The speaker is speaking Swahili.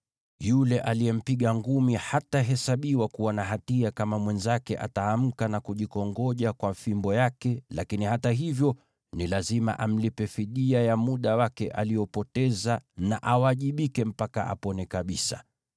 yule aliyempiga ngumi hatahesabiwa kuwa na hatia kama mwenzake ataamka na kujikongoja kwa fimbo yake, lakini hata hivyo, ni lazima amlipe fidia ya muda wake aliopoteza na awajibike mpaka apone kabisa.